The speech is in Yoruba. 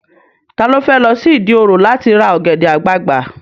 Ta ló fẹ́ lọ sí Ìdí òro láti ra ọ̀gẹ̀dẹ̀ àgbagbà?